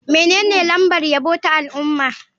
Menene lambar yabo ta al'umma?